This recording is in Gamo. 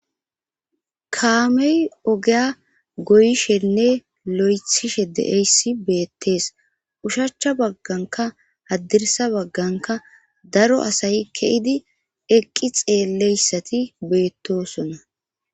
Kaamey ogeya goyishenne lo'ethishe deeyssi beettees ushachcha bagganka haddirsa bagganka daro asayi ke'idi eqqi xeeleyssati beettosona.